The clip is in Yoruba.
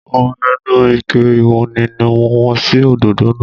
Omi inú Ike ìwọ́nmi ni mo wọ́n sí òdòdó náà